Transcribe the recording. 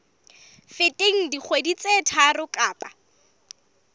feteng dikgwedi tse tharo kapa